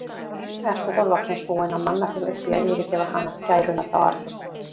Ertu þá loksins búinn að manna þig upp í að yfirgefa hana, gæruna þá arna?